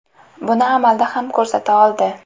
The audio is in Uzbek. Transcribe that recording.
Buni amalda ham ko‘rsata oldi.